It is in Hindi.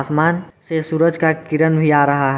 आसमान से सूरज का किरन भी आ रहा है।